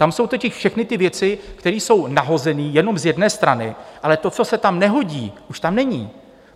Tam jsou totiž všechny ty věci, které jsou nahozené jenom z jedné strany, ale to, co se tam nehodí, už tam není.